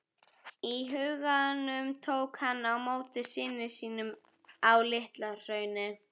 í huganum tók hann á móti syni sínum á LitlaHrauni.